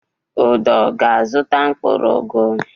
Udo ga-azụta mkpụrụ ugu.